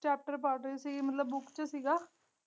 Chapter ਪੜ੍ਹ ਰਹੀ ਸੀ ਮਤਲਬ ਬੁਕ ਚ ਸੀਗਾ।